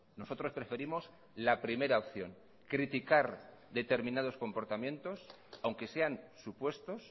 nosotros preferimos la primera opción criticar determinados comportamientos aunque sean supuestos